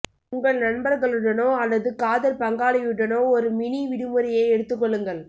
உங்கள் நண்பர்களுடனோ அல்லது காதல் பங்காளியுடனோ ஒரு மினி விடுமுறையை எடுத்துக் கொள்ளுங்கள்